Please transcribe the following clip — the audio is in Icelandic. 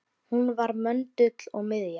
Hún var möndull og miðja.